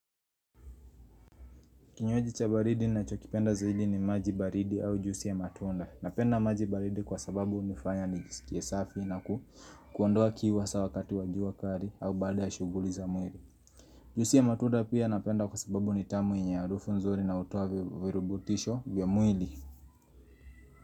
Kinywaji cha baridi nachokipenda zaidi ni maji baridi au juisi ya matunda. Napenda maji baridi kwa sababu hunifanya nijisikie safi na ku kuondoa kiu hasa wakati wa jua kali au baada ya shuguli za mwili. Juisi ya matunda pia napenda kwa sababu nitamu yenye harufu nzuri na hutoa virubutisho vya mwili.